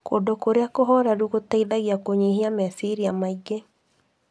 Kũndũ kũrĩa kũhoreru, gũteithagia kũnyihia meciria maingĩ.